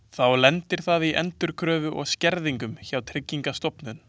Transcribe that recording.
Þá lendir það í endurkröfu og skerðingum hjá Tryggingastofnun.